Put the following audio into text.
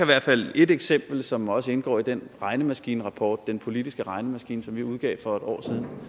hvert fald et eksempel som også indgår i den regnemaskinerapport den politiske regnemaskine som vi udgav for et år